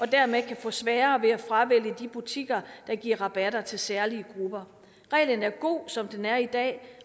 dermed kan få sværere ved at fravælge de butikker der giver rabatter til særlige grupper reglen er god som den er i dag